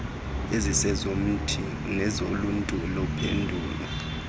ezizezomntu nezoluntu luphela